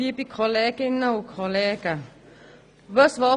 Die Motionärin hat das Wort.